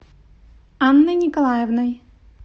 анной николаевной